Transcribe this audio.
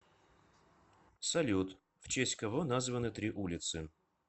салют в честь кого названы три улицы